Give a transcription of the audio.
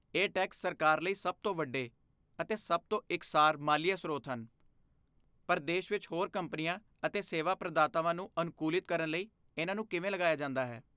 ਇਹ ਟੈਕਸ ਸਰਕਾਰ ਲਈ ਸਭ ਤੋਂ ਵੱਡੇ ਅਤੇ ਸਭ ਤੋਂ ਇਕਸਾਰ ਮਾਲੀਆ ਸਰੋਤ ਹਨ ਪਰ ਦੇਸ਼ ਵਿੱਚ ਹੋਰ ਕੰਪਨੀਆਂ ਅਤੇ ਸੇਵਾ ਪ੍ਰਦਾਤਾਵਾਂ ਨੂੰ ਅਨੁਕੂਲਿਤ ਕਰਨ ਲਈ ਇਹਨਾਂ ਨੂੰ ਕਿਵੇਂ ਲਗਾਇਆ ਜਾਂਦਾ ਹੈ।